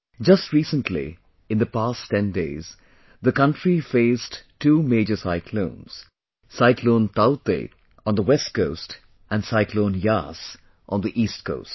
Just recently, in the past ten days, the country faced two major cyclones cyclone Taukte on the west coast and cyclone Yaas on the east coast